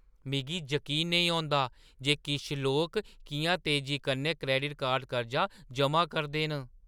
मिगी जकीन निं औंदा जे किश लोक किʼयां तेजी कन्नै क्रैडिट कार्ड कर्जा जमा करदे न।